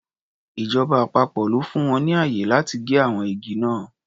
Ìjọba àpapọ̀ ló fún wọn ní ààyè láti gé àwọn igi náà.